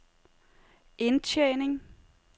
indtjening